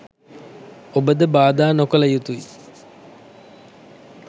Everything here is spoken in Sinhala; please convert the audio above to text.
ඔබ ද බාධා නොකළ යුතුයි